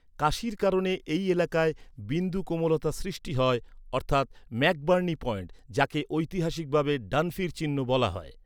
কাশির কারণে এই এলাকায় বিন্দু কোমলতা সৃষ্টি হয় ম্যাকবার্নি পয়েন্ট, যাকে ঐতিহাসিকভাবে ডানফির চিহ্ন বলা হয়।